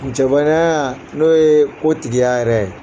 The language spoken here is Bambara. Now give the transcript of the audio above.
Kuncɛbaninya n'o ye ko tigiya yɛrɛ ye